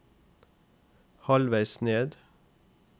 halvveis ned